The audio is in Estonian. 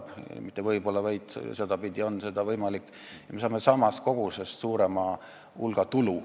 Tegelikult isegi mitte võib-olla, vaid sedapidi on see võimalik, me saame samast kogusest suurema hulga tulu.